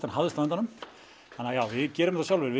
en hafðist á endanum við gerum þetta sjálfir